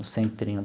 O centrinho.